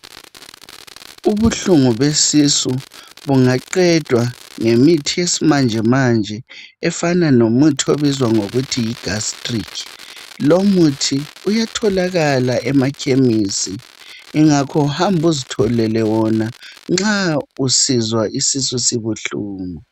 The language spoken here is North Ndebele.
Ubuhlungu besisu bungaqedwa ngemithi yesimanjemanje efana lomuthi obizwa ngokuthi yiGastric. Lomuthi uyatholakala emaKhemisi ingakho hamba uzitholele wona nxa usizwa isisu sibuhlungu.